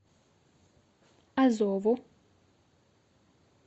азову